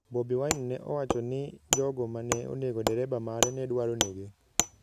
Bobi Wine nowacho ni jogo ma ne onego dereba mare ne dwaro nege.